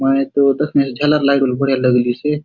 मय तो दखेसे झालर लाइट बले बढ़िया लगलिसे।